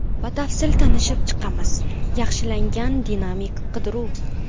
Batafsil tanishib chiqamiz: – Yaxshilangan dinamik qidiruv.